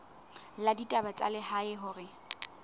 la ditaba tsa lehae hore